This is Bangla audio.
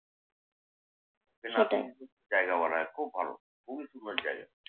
জায়গা বলা হয় খুব ভালো, খুবই সুন্দর জায়গা।